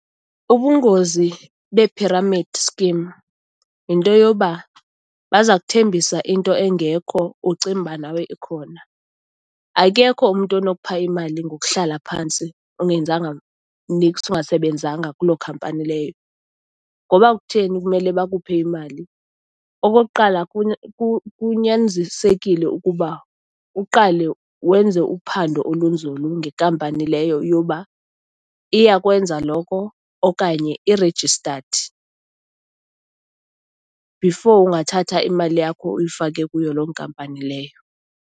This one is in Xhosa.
Ubungozi be-pyramid scheme yinto yoba baza kuthembisa into engekho, ucinge uba nawe ikhona. Akekho umntu onokupha imali ngokuhlala phantsi ungenzanga niks, ungasebenzanga kuloo khampani leyo. Ngoba kutheni kumele bakuphe imali? Okokuqala, kunyanzisekile ukuba uqale wenze uphando olunzulu ngekampani leyo yoba iyakwenza loko okanye i-registered, before ungathatha imali yakho uyifake kuyo loo nkampani leyo.